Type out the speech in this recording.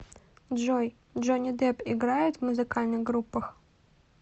джой джонни депп играет в музыкальных группах